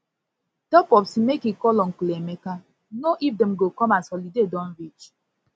tell popsi make e call uncle emeka know if dem go come as holiday come as holiday don reach